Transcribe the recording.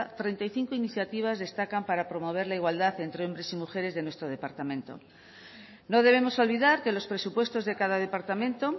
treinta y cinco iniciativas destacan para promover la igualdad entre hombres y mujeres de nuestro departamento no debemos olvidar que los presupuestos de cada departamento